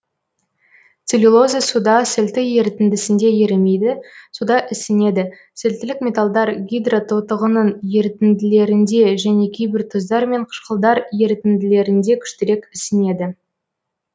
целлюлоза суда сілті ерітіндісінде ерімейді суда ісінеді сілтілік металдар гидрототығының ерітінділерінде және кейбір тұздар мен қышқылдар ерітінділерінде күштірек ісінеді